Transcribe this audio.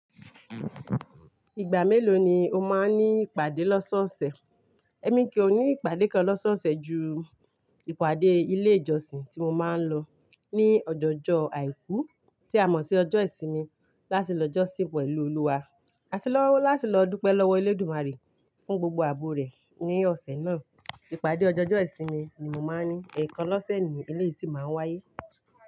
Ìgbà mélòó ni o máa ń ní ìpàdé lọ́sọ́ ọ̀sẹ̀? Ẹ̀mi kí ó ní ìpàdé kan lọ́sọ́ ọ̀sẹ̀ ju ìpàdé ilé ìjọsìn tí mo máa ń lọ ní ọjọ́jọ́ àìkú tí a mọ̀ sí ọjọ́ ìsinmi láti lọ jọ́sìn pẹ̀lú Olúwa, àti lọ láti lọ dúpẹ́ lọ́wọ́ Elédùmarè fún gbogbo àbò rẹ̀ ní ọ̀sẹ̀ náà. Ìpàdé ọjọ́jọ́ ìsinmi ni mo máa ń ní, èèkàn lọ́sẹ̀ ni ilé yìí sì máa ń wáyé.